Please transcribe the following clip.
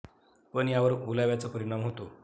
पण यावर ओलाव्याचा परिणाम होतो.